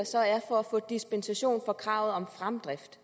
så er for at få dispensation for kravet om fremdrift